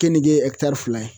Kenige fila ye